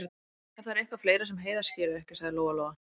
Ef það er eitthvað fleira sem Heiða skilur ekki, sagði Lóa-Lóa.